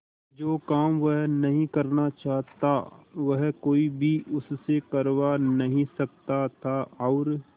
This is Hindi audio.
जो काम वह नहीं करना चाहता वह कोई भी उससे करवा नहीं सकता था और